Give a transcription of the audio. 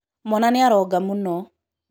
mwana nĩaronga mũno